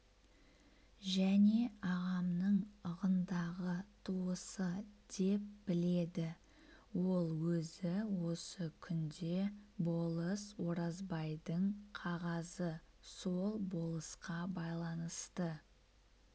және ағамның ығындағы туысы деп біледі ол өзі осы күнде болыс оразбайдың қағазы сол болысқа байланысты